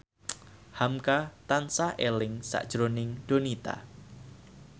hamka tansah eling sakjroning Donita